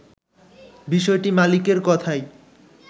বিষয়টি মালিকের কথাই